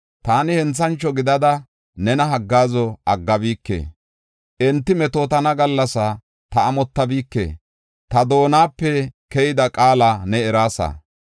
Taani henthancho gidada nena haggaazo aggabike; enti metootana gallasaa ta amottabike. Ta doonape keyida qaala ne eraasa.